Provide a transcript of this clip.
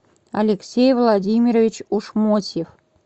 алексей владимирович ушмотьев